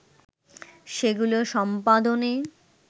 সেগুলো সম্পাদনে